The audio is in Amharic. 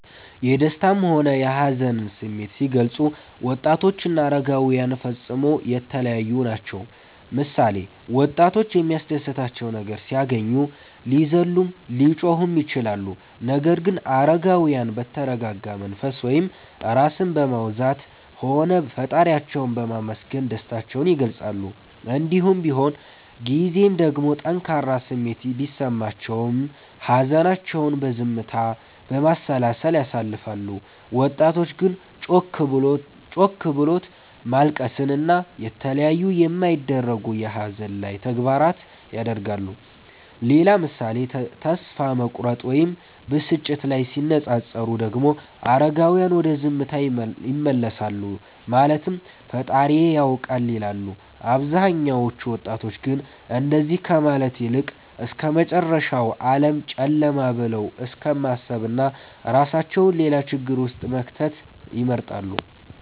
የደሰታም ሆነ የሀዘንን ስሜት ሲገልፁ ወጣቶችና አረጋዉያን ፈፅሞ የተለያዪ ናቸዉ ምሳሌ፦ ወጣቶች የሚያስደስታቸው ነገር ሲያገኙ ሊዘሉም ሊጮሁም ይችላሉ ነገር ግን አረጋዉያን በተረጋጋ መንፈስ (ራስን በማዉዛት) ሆነዉ ፈጣሪያቸዉን በማመስገን ደስታቸዉን ይገልፃሉ። እንዲሁም በሆን ጊዜም ደግሞ ጠንካራ ስሜት ቢሰማቸውም ሀዘናቸዉን በዝምታ፣ በማሰላሰል ያሳልፋሉ ወጣቶች ግን ጮክ ብሎት ማልቀስን እና የተለያዩ የማይደረጉ የሀዘን ላይ ተግባራት ያደርጋሉ። ሌላ ምሳሌ ተስፋ መቁረጥ ወይም ብስጭት ላይ ሲነፃፀሩ ደግሞ አረጋዉያን ወደ ዝምታ ይመለሳሉ ማለትም ፈጣሪዬ ያዉቃል ይላሉ አብዛኞቹ ወጣቶች ግን እንደዚ ከማለት ይልቅ እስከመጨረሻዉ ዓለም ጨለማ ብለዉ እስከማሰብና እራሳቸዉን ሌላ ችግር ዉስጥ መክተትን ይመርጣሉ